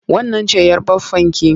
Wannan ce'yar baffanki?